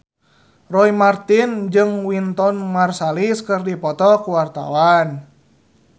Roy Marten jeung Wynton Marsalis keur dipoto ku wartawan